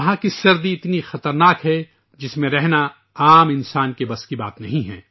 وہاں سردی اتنی خوفناک ہے کہ اس میں رہنا عام آدمی کے بس کی بات نہیں